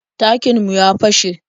Tankin mu ya fashe.